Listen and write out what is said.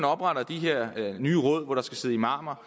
opretter de her nye råd hvor der skal sidde imamer